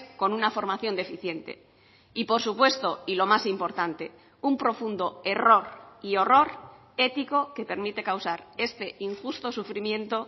con una formación deficiente y por supuesto y lo más importante un profundo error y horror ético que permite causar este injusto sufrimiento